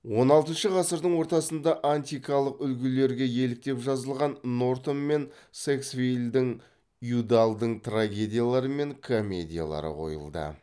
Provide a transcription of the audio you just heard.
он алтыншы ғасырдың ортасында антикалық үлгілерге еліктеп жазылған нортон мен сэксвиллдің юдаллдың трагедиялары мен комедиялары қойылды